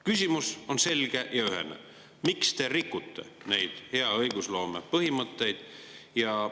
Küsimus on selge ja ühene: miks te rikute neid hea õigusloome põhimõtteid?